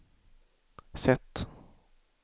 sätt